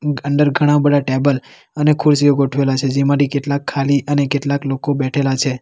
અંદર ઘણા બધા ટેબલ અને ખુરશીઓ ગોઠવેલા છે જેમાંથી કેટલાક ખાલી અને કેટલાક લોકો બેઠેલા છે.